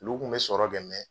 Ulu kun bɛ sɔrɔ kɛ